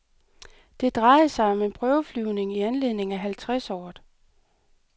Det drejede sig om en prøveflyvning i anledning af halvtreds året.